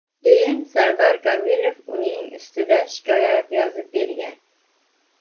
Keyin Sardor Komilov uning ustida shikoyat yozib bergan.